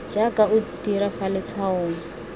jaaka o dira fa letshwaong